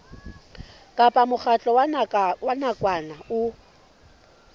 kapa mokgatlo wa nakwana o